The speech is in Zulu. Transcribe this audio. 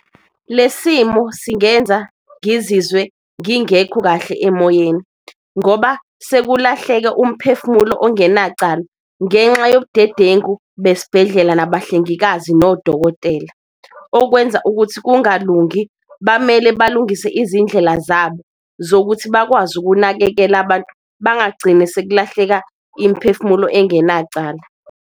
Le simo singenza ngizizwe ngingekho kahle emoyeni ngoba sekulahleka umphefumulo ongenacala ngenxa yobudedengu besibhedlela, nabahlengikazi nodokotela. Okwenza ukuthi kungalungi bamele balungise izindlela zabo, zokuthi bakwazi ukunakekela abantu bangagcini sekulahleka imphefumulo engenacala.